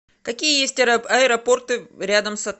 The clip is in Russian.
какие есть аэропорты рядом с отелем